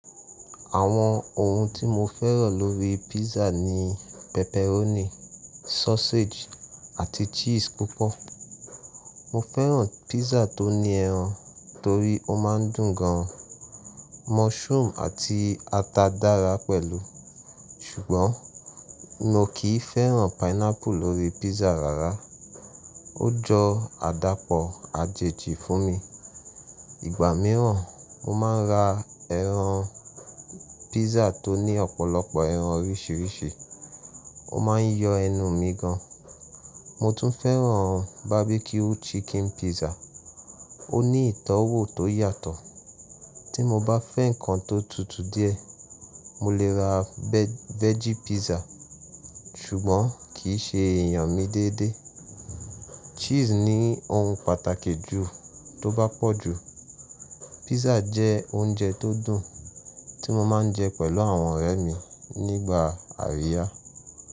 Àwọn ohun tí mo fẹ́ràn lórí písà ni pepperoni, sausage àti cheese púpọ̀. Mo fẹ́ràn písà tó ní ẹran torí ó má ń dùn gan. Mushroom àti ata dára pẹ̀lú. Ṣùgbọ́n mo kì í fẹ́ràn pineapple lórí písà rárá. Ó jọ àdàpọ̀ àjèjì fún mi. Ìgbà mìíràn mo má a ń ra ẹran písà tó ní ọ̀pọ̀lọpọ̀ ẹran oríṣiríṣi, ó má a ń yọ ẹnu mi gan. Mo tún fẹ́ràn barbecue chicken písà, ó ní ìtọ́wò tó yàtọ̀. Tí mo bá fẹ́ ǹkan tó tutu díẹ̀, mo lè ra veggie písà ṣùgbọ́n kì í ṣe èèyàn mi déédé. Cheese ni ohun pàtàkì jù, tó bá pọ̀ jù. Písà jẹ́ oúnjẹ tó dùn tí mo máa ń jẹ pẹ̀lú àwọn ọ̀rẹ́ mi nígbà àríyá.